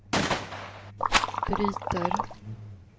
bryter